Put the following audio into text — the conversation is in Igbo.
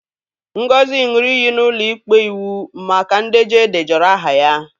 Ngozi ṅụrụ iyi n'ụlọ ikpe iwu maka ndejọ e edejọrọ aha ya.